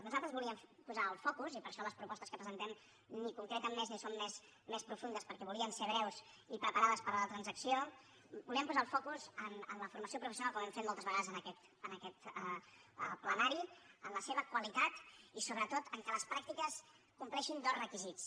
nosaltres volíem posar el focus i per això les propostes que presentem ni concreten més ni són més profundes perquè volien ser breus i preparades per a la transacció en la formació professional com hem fet moltes vegades en aquest plenari en la seva qualitat i sobretot en el fet que les pràctiques compleixin dos requisits